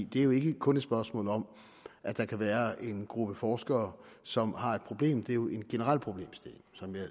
det er jo ikke kun et spørgsmål om at der kan være en gruppe forskere som har et problem for det er jo en generel problemstilling